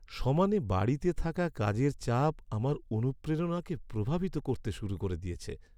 সমানে বাড়তে থাকা কাজের চাপ আমার অনুপ্রেরণাকে প্রভাবিত করতে শুরু করে দিয়েছে।